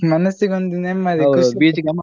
ಮನಸ್ಸಿಗೊಂದು ನೆಮ್ಮದಿ ಖುಷಿ .